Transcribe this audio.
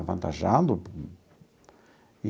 Avantajado.